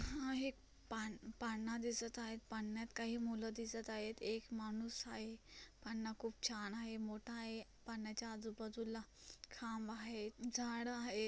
पान-पाना दिसत आहे पाण्यात काही मूल दिसत आहे एक माणूस आहे पांना खूप छान आहे मोठा आहे पानाच्या आजू-बाजूला खांब आहे झाड आहे.